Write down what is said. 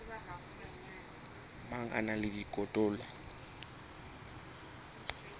mang a na le dikotola